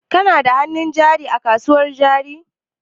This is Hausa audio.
Kana da hannun jari a kasuwan jari?